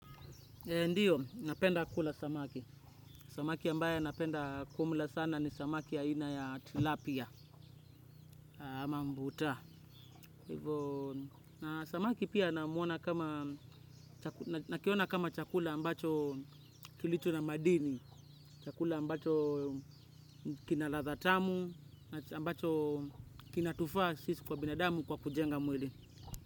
Ndiyo, napenda kula samaki. Samaki ambaya napenda kumla sana ni samaki ya aina ya tilapia ama mbuta. Hivo samaki pia namuona kama nakiona kama chakula ambacho kilicho na madini, chakula ambacho kina ladha tamu, ambacho kinatufaa sisi kwa binadamu kwa kujenga mwili.